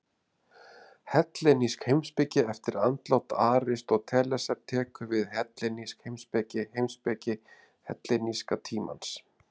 Hellenísk heimspeki Eftir andlát Aristótelesar tekur við hellenísk heimspeki, heimspeki helleníska tímans.